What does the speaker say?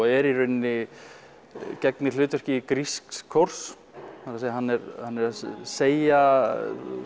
er í rauninni gegnir hlutverki grísks kórs hann er að segja